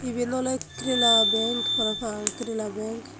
iyan ole kerala bank parapang Kerala bank.